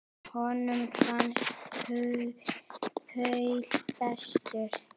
Honum fannst Paul bestur.